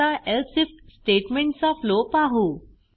आता else if statement चा flow पाहू